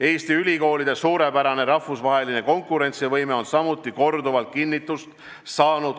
Eesti ülikoolide suurepärane rahvusvaheline konkurentsivõime on samuti korduvalt kinnitust saanud.